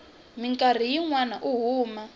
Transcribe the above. mikarhi yin wana u huma